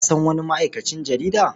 Ka san wani ma'aikacin jarida?